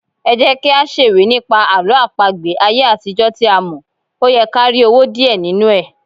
Ẹjẹ́kí á ṣèwé nípa àwọn Àlọ́ àpagbè ayé àtijó tí a mọ̀, óyẹ kí á rí owó díẹ̀ nínú ẹ̀.